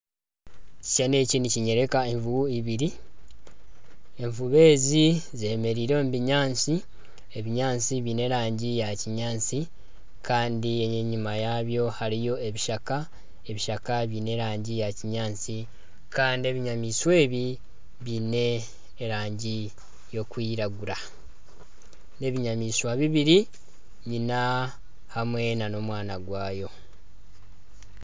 Ekishushani eki nikinyoreka enjubu ibiri, enjubu ezi zemereire omu binyaantsi , ebinyaantsi byine erangi ya kinyaantsi Kandi enyima yabyo hariyo ebishaka, ebishaka byine erangi ya kinyaantsi Kandi ebinyamaishwa ebi byine erangi erikwiragura. N'ebinyamaishwa bibiri nyina hamwe n'omwana gwayo.